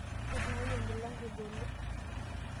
Itung'wayie emilango ebolo?